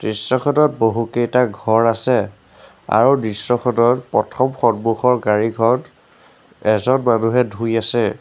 দৃশ্যখনত বহুকেইটা ঘৰ আছে আৰু দৃশ্যখনৰ প্ৰথম সন্মুখৰ গাড়ীখন এজন মানুহে ধুই আছে।